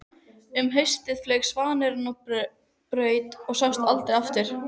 Um haustið flaug svanurinn á braut og sást aldrei aftur.